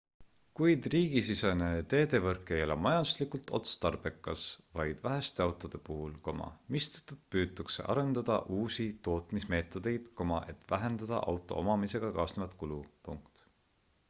kuid riigisisene teedevõrk ei ole majanduslikult otstarbekas vaid väheste autode puhul mistõttu püütakse arendada uusi tootmismeetodeid et vähendada auto omamisega kaasnevat kulu